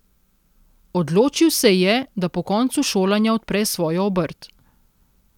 Odločil se je, da po koncu šolanja odpre svojo obrt.